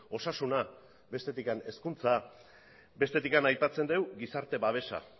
osasuna bestetik hezkuntza bestetik aipatzen dugu gizarte babesa